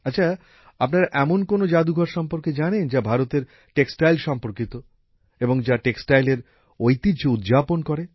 আচ্ছা আপনারা এমন কোনো জাদুঘর সম্পর্কে জানেন যা ভারতের বস্ত্রশিল্প সম্পর্কিত এবং যা বস্ত্রশিল্পর ঐতিহ্য তুলে করে